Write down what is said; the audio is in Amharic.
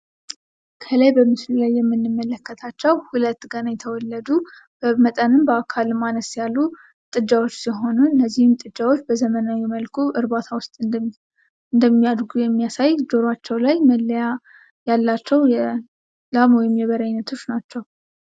ከላይ በምስሉ ላይ የምንመለከታቸዉ ሁለት ገና የተወለዱ በመጠንም በአካልም አነስ ያሉ ጥጃዎች ሲሆኑ እነዚህም ጥጃዎች በዘመናዊ መልኩ እርባታ ዉስጥ እንደሚያድጉ የሚያሳይ ጆሯቸዉ ላይ መለያ ያላቸዉ የላም ወይም የበሬ አይነቶች ናቸዉ።